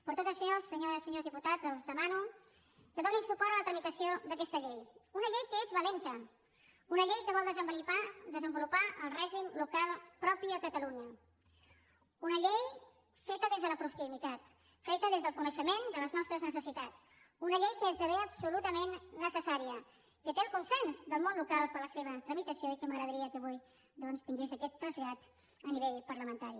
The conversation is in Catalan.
per tot això senyores i senyors diputats els demano que donin suport a la tramitació d’aquesta llei una llei que és valenta una llei que vol desenvolupar el règim local propi a catalunya una llei feta des de la proximitat feta des del coneixement de les nostres necessitats una llei que esdevé absolutament necessària que té el consens del món local per a la seva tramitació i que m’agradaria que avui doncs tingués aquest trasllat a nivell parlamentari